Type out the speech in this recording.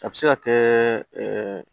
A bɛ se ka kɛ